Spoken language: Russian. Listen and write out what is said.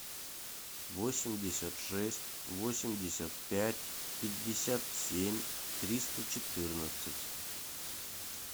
восемьдесят шесть восемьдесят пять пятьдесят семь триста четырнадцать